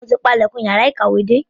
Mo ti pa ilẹ̀kùn yàrá ìkàwé dé.